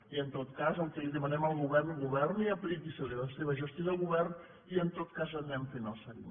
i en tot cas el que li demanem al govern governi apliqui’s a la seva gestió de govern i en tot cas anem fent el seguiment